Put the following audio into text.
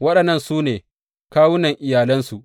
Waɗannan su ne kawunan iyalansu.